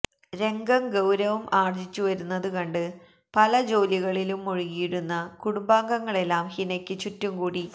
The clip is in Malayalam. രംഗം ഗൌരവം ആർജ്ജിച്ചു വരുന്നതു കണ്ട് പല ജോലികളിലും മുഴുകിയിരുന്ന കുടുംബാംഗങ്ങളെല്ലാം ഹിനയ്ക്ക് ചുറ്റും കൂടി